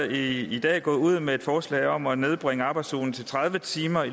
i dag gået ud med et forslag om at nedbringe arbejdsugen til tredive timer